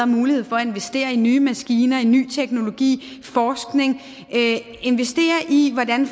mulighed for at investere i nye maskiner i ny teknologi i forskning investere i hvordan